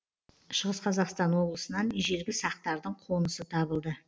шығыс қазақстан облысынан ежелгі сақтардың қонысы табылды